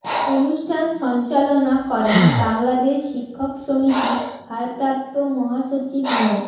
অনুষ্ঠান সঞ্চালনা করেন বাংলাদেশ শিক্ষক সমিতির ভারপ্রাপ্ত মহাসচিব মো